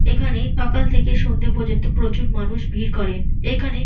এইখানে সকাল থেকে সন্ধ্যে পর্যন্ত প্রচুর মানুষ ভিড় করেন। এখানে --